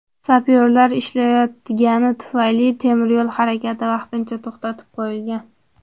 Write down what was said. Sapyorlar ishlayotgani tufayli, temiryo‘l harakati vaqtincha to‘xtatib qo‘yilgan.